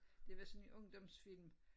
Det var sådan en ungdomsfilm